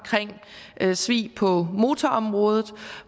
svig på motorområdet